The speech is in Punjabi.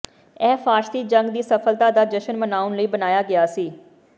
ਇਹ ਫ਼ਾਰਸੀ ਜੰਗ ਦੀ ਸਫਲਤਾ ਦਾ ਜਸ਼ਨ ਮਨਾਉਣ ਲਈ ਬਣਾਇਆ ਗਿਆ ਸੀ